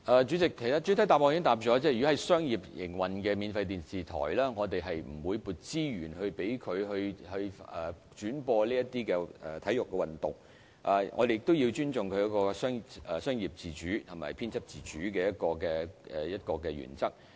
主席，其實主體答覆已經指出，就商業營運的免費電視台而言，我們並不會撥資源以轉播體育運動節目，況且我們亦要尊重商業自主及編輯自主的原則。